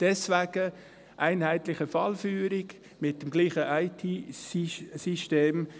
Deswegen: einheitliche Fallführung mit dem gleichen IT-System.